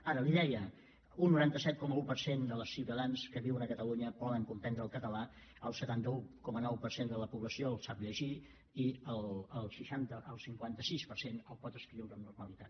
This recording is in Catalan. ara li deia un noranta set coma un per cent dels ciutadans que viuen a catalunya poden comprendre el català el setanta un coma nou per cent de la població el sap llegir i el cinquanta sis per cent el pot escriure amb normalitat